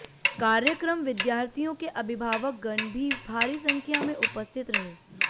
कार्यक्रम विद्यार्थियों के अभिभावक गण भी भारी संख्या में उपस्थित रहे